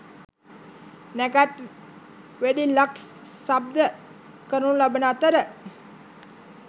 නැකත් වෙඩිල්ලක් ශබ්ද කරනු ලබන අතර